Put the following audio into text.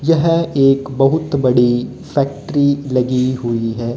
यह एक बहुत बड़ी फैक्ट्री लगी हुई है।